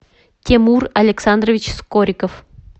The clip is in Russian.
тимур александрович скориков